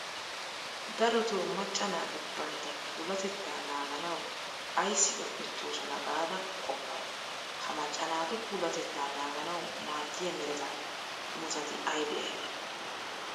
Darotoo macca naati bantta puulatettaa naaganawu ayssi un"ettoosona gaada qoppay? Ha macca naatu puulatettaa naaganawu maaddiya mereta imotati aybee aybee?